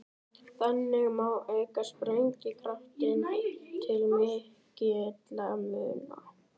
Þannig má auka sprengikraftinn til mikilla muna.